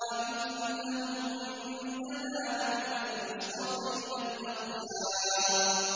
وَإِنَّهُمْ عِندَنَا لَمِنَ الْمُصْطَفَيْنَ الْأَخْيَارِ